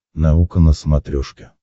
наука на смотрешке